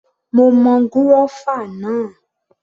Mo mọ gúrọ́fà náà